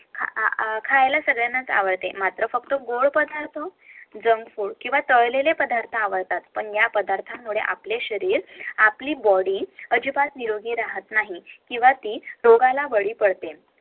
खायला सर्वांनाच आवडते मात्र फक्त गोड पदार्थ JUNK FOOD किंवा तळलेले पदार्थ आवडतात पण या पदार्थांमुळे आपले शरीर आपली body अजिबात निरोगी राहत नाही किवहा ती रोगाला बळी पडते